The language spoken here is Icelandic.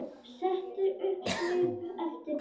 Setur upp svip eftir pöntun.